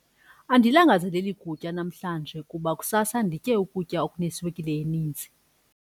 Andilangazaleli kutya namhlanje kuba kusasa nditye ukutya okuneswekile eninzi.